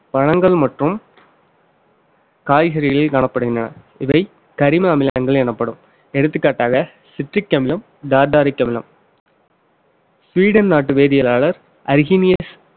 பழங்கள் மற்றும் காய்கறிகள் காணப்படுகின்றன இவன் கரிம அமிலங்கள் எனப்படும் எடுத்துக்காட்டாக citric அமிலம் tartaric அமிலம் ஸ்வீடன் நாட்டு வேதியலாளர் அரிகனியஸ்